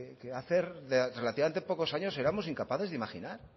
que hace relativamente pocos años éramos incapaces de imaginar